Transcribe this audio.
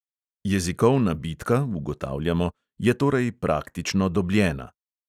Jezikovna bitka, ugotavljamo, je torej praktično dobljena.